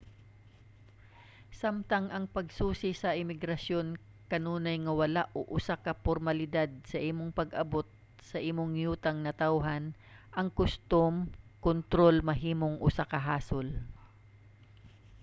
samtang ang pagsusi sa imigrasyon kanunay nga wala o usa ka pormalidad sa imong pag-abot sa imong yutang natawhan ang kustom kontrol mahimong usa ka hasol